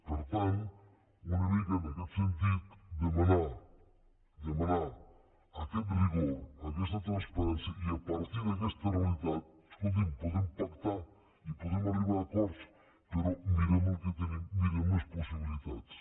per tant una mica en aquest sentit demanar demanar aquest rigor aquesta transparència i a partir d’aquesta realitat escolti’m podem pactar i podem arribar a acords però mirem el que tenim mirem les possibilitats